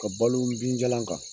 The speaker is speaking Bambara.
Ka balo wubijalan kan.